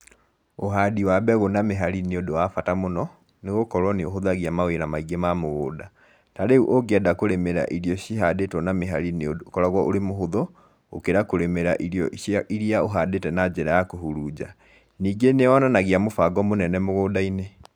Ũhandi wa mbegũ na mĩhari nĩ ũndũ wa bata mũno, nĩ gũkorwo nĩ ũhũthagia mawĩra maingĩ ma mũgũnda. Tarĩu ũngĩenda kũrĩmĩra irio cihandĩtwo na mĩhari nĩ ũndũ ũkoragwo ũrĩ mũhũthũ, gũkĩra kũrĩmĩra irio iria ũhandĩte na njĩra ya kũhurunja. ningĩ nĩ yonanagia mũbango mũnene mũgũnda-inĩ.